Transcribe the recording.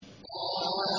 طه